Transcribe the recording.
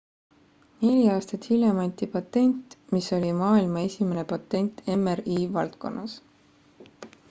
neli aastat hiljem anti patent mis oli maailma esimene patent mri valdkonnas